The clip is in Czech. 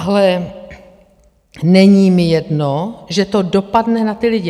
Ale není mi jedno, že to dopadne na ty lidi.